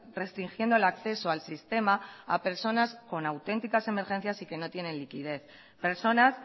restringiendo el acceso al sistema a personas con auténticas emergencias y que no tienen liquidez personas